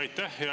Aitäh!